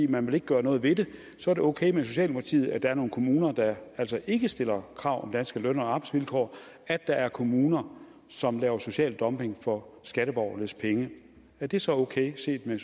man vil ikke gøre noget ved det så er det okay med socialdemokratiet at der er nogle kommuner der altså ikke stiller krav om danske løn og arbejdsvilkår at der er kommuner som laver social dumping for skatteborgernes penge er det så okay set med